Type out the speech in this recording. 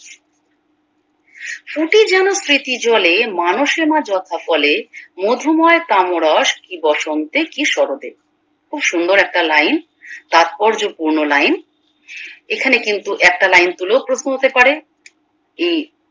স্মৃতিজলে মানুষে মা যথা কোলে মধুময় কামরস কি বসন্তে কি সরতে খুব সুন্দর একটা লাইন তাৎপর্য পূর্ণ লাইন এখানে কিন্তু একটা লাইন তুলেও প্রশ্ন হতে পারে এই